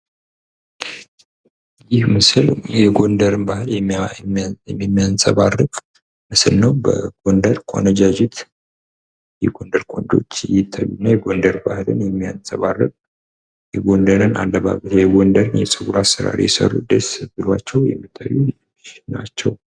ይህ ምስል የጎንደርን ባህል የሚያንፀባርቅ ምስል ነው ። በጎንደር ቆነጃጅት የጎንደር ቆንጆዎች ይታዩናል ። የጎንደር ባህልን የሚያንፀባርክ የጎንደርን የፀጉር አሰራር የሰሩ ደስ ብሏቸው የሚታዩ ናቸው።